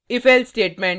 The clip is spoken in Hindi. ifelse statement